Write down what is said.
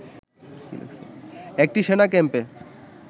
একটি সেনা ক্যাম্পে